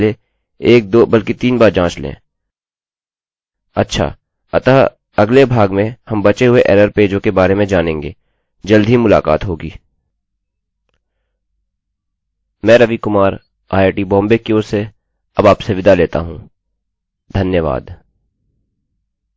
अच्छा अतः अगले भाग में हम बचे हुए एररerror पेजों के बारे में जानेंगे जल्द ही मुलाकात होगी मैं रवि कुमार आईआईटीबॉम्बे की ओर से अब आपसे विदा लेता हूँ धन्यवाद